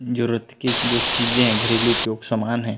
जरुरत की जो चीजे है घरेलु उपयोग सामान है।